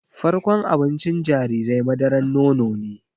Farkon abincin jarirai madaran nono ne